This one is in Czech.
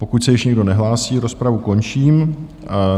Pokud se již nikdo nehlásí, rozpravu končím.